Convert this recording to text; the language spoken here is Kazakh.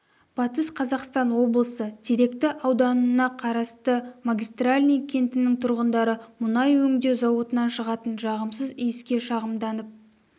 батыс қазақстан облысы теректі ауданына қарасты магистральный кентінің тұрғындары мұнай өңдеу зауытынан шығатын жағымсыз иіске шағымданып